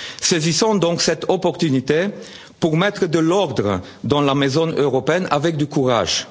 que jamais. Saisissons donc cette opportunité pour mettre de l'ordre dans la maison européenne avec du courage,